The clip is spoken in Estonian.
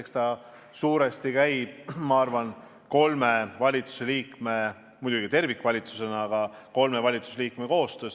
Eks see suures osas käib, ma arvan, muidugi kogu valitsuse, aga eriti kolme valitsusliikme koostöös.